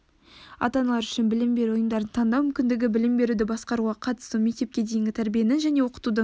ата-аналар үшін білім беру ұйымдарын таңдау мүмкіндігі білім беруді басқаруға қатысу мектепке дейінгі тәрбиенің және оқытудың